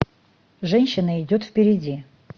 женщина идет впереди